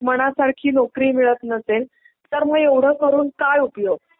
मनासारखी नोकरी मिळत नसेल तर मग एवढं करून काय उपयोग.